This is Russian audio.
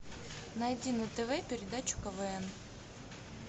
найди на тв передачу квн